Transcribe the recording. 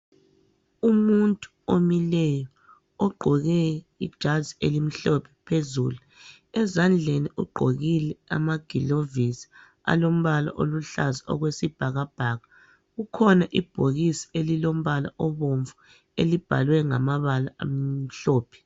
Umuntu omileyo ogqoke ijazi elimhlophe phezulu. Ezandleni ugqokile amagilovisi alombala oluhlaza okwesibhakabhaka. Kukhona ibhokisi elilombala obomvu elibhalwe ngamabala amhlophe.